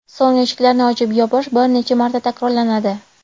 So‘ng eshiklarni ochib-yopish bir necha marta takrorlanadi.